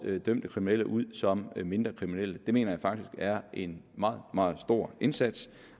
dømte kriminelle ud som mindre kriminelle det mener jeg faktisk er en meget meget stor indsats